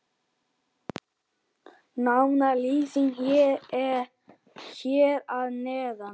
Nánari lýsing hér að neðan.